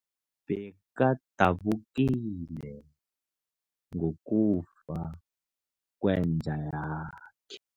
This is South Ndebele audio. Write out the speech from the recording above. Bekadabukile ngokufa kwenja yakhe.